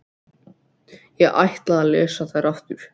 Ég ætla að lesa þær aftur.